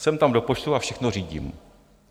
Jsem tam do počtu a všechno řídím...